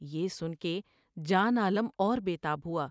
یہ ان کے جان عالم اور بے تاب ہوا ۔